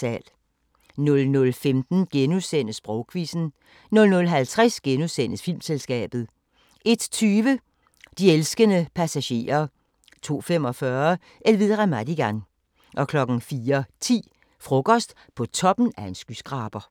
00:15: Sprogquizzen * 00:50: Filmselskabet * 01:20: De elskende passagerer 02:45: Elvira Madigan 04:10: Frokost på toppen af en skyskraber